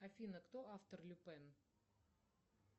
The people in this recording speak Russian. афина кто автор люпен